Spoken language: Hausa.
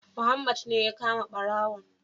Muhammad ne ya kama ɓarawon